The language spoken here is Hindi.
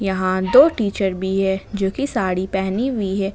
यहां दो टीचर भी है जो की साड़ी पहनी हुई है।